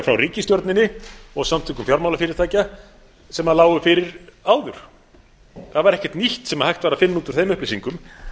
frá ríkisstjórninni og samtökum fjármálafyrirtækja sem lágu fyrir áður það var ekkert nýtt sem hægt var að finna út úr þeim upplýsingum